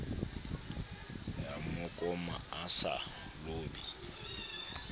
ya mmakoma a sa lobe